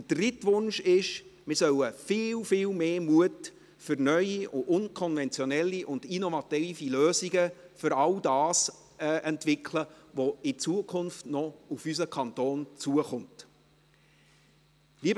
Der dritte Wunsch ist: Wir sollen viel, viel mehr Mut für neue und unkonventionelle und innovative Lösungen für all das entwickeln, das in Zukunft noch auf unseren Kanton zukommen wird.